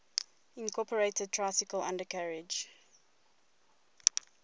incorporated tricycle undercarriage